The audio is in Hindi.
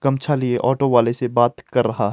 गमछा लिए ऑटो वाले से बात कर रहा--